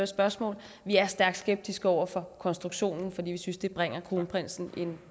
spørgsmål stærkt skeptiske over for konstruktionen fordi vi synes at det bringer kronprinsen i en